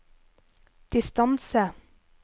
distance